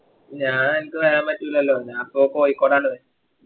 ഞാ എനക്ക് വരാൻ പറ്റൂലല്ലോ ഞാൻ പ്പൊ കോയിക്കോടണ്